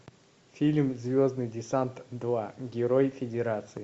фильм звездный десант два герой федерации